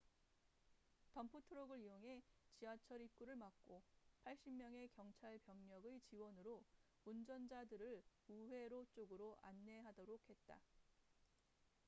덤프트럭을 이용해 지하철 입구를 막고 80명의 경찰병력의 지원으로 운전자들을 우회로 쪽으로 안내하도록 했다